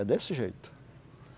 É desse jeito.